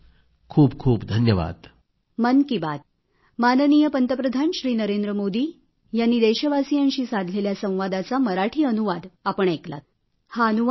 खूपखूप धन्यवाद